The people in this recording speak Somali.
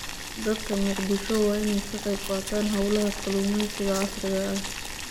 Dadka Mogadishu waa in ay ka qayb qaataan hawlaha kalluumaysiga casriga ah.